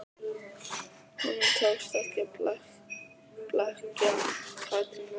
Honum tókst ekki að blekkja Katrínu aftur.